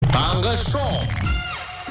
таңғы шоу